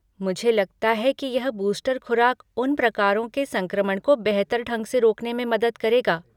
मुझे लगता है कि यह बूस्टर खुराक उन प्रकारों के संक्रमण को बेहतर ढंग से रोकने में मदद करेगा।